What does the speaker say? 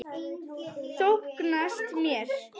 Þóknast mér?